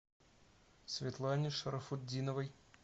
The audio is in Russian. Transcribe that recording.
светлане шарафутдиновой